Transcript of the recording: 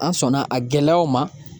An sɔnna a gɛlɛyaw ma